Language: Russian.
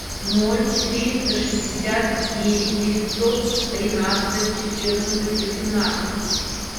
ноль четыреста шестьдесят девять девятьсот тринадцать четырнадцать восемнадцать